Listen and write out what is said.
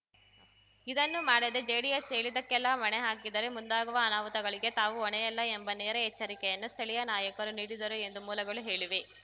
ಇದನ್ನು ಮಾಡದೇ ಜೆಡಿಎಸ್‌ ಹೇಳಿದ್ದಕ್ಕೆಲ್ಲ ಮಣೆ ಹಾಕಿದರೆ ಮುಂದಾಗುವ ಅನಾಹುತಗಳಿಗೆ ತಾವು ಹೊಣೆಯಲ್ಲ ಎಂಬ ನೇರ ಎಚ್ಚರಿಕೆಯನ್ನು ಸ್ಥಳೀಯ ನಾಯಕರು ನೀಡಿದರು ಎಂದು ಮೂಲಗಳು ಹೇಳಿವೆ